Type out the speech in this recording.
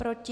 Proti?